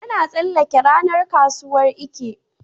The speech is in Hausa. Yana tsallake ranar kasuwar Eke.